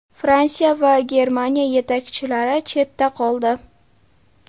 Fransiya va Germaniya yetakchilari chetda qoldi.